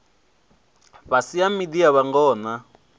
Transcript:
fhiswa ha miḓi ya vhangona